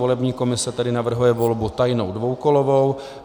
Volební komise tedy navrhuje volbu tajnou dvoukolovou.